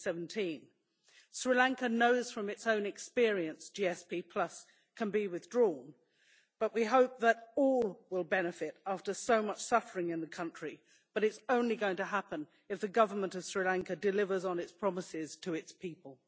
2017. Sri Lanka knows from its own experience that GSP can be withdrawn but we hope that all will benefit after so much suffering in the country, but it is only going to happen if the government of Sri Lanka delivers on its promises to its people.